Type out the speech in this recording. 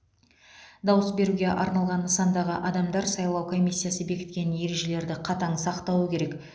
дауыс беруге арналған нысандағы адамдар сайлау комиссиясы бекіткен ережелерді қатаң сақтауы керек